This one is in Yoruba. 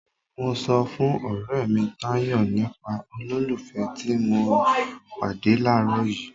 Mo sọ fún ọrẹ mi Tayọ nípa olólùfẹ́ ti mo pàdé làárọ̀ yìí.